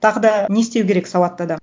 тағы да не істеу керек сауатты адам